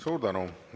Suur tänu!